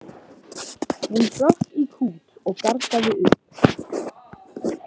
Hún hrökk í kút og gargaði upp.